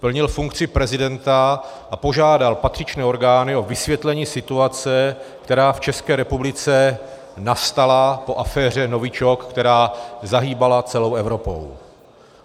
Plnil funkci prezidenta a požádal patřičné orgány o vysvětlení situace, která v České republice nastala po aféře novičok, která zahýbala celou Evropou.